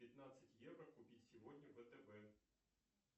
пятнадцать евро купить сегодня втб